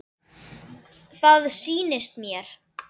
Það sýnist mér.